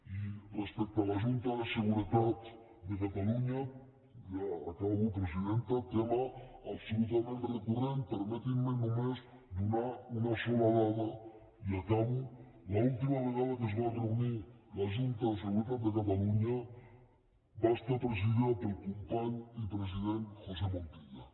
i respecte a la junta de seguretat de catalunya ja acabo presidenta tema absolutament recurrent permetin me només donar una sola dada i acabo l’última vegada que es va reunir la junta de seguretat de catalunya va estar presidida pel company i president josé montilla